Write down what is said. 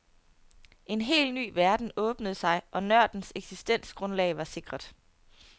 En hel ny verden åbnede sig og nørdens eksistensgrundlag var sikret.